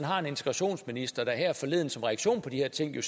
har en integrationsminister der her forleden som reaktion på de her ting